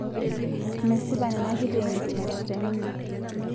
Mesipa nena kiteenikinot te ninye